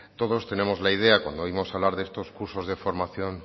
todos tenemos la idea cuando oímos hablar de estos cursos de formación